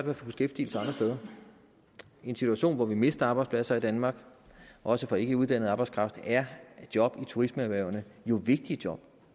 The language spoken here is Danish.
at få beskæftigelse andre steder i en situation hvor vi mister arbejdspladser i danmark også for ikke uddannet arbejdskraft er job i turismeerhvervene jo vigtige job